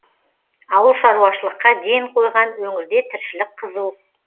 ауыл шаруашылыққа ден қойған өңірде тіршілік қызу